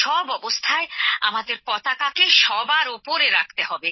সব অবস্থায় আমাদের পতাকাকে সবার ওপরে রাখতে হবে